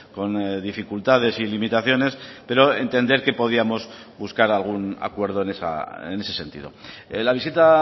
con dificultades y limitaciones pero entender que podíamos buscar algún acuerdo en ese sentido la visita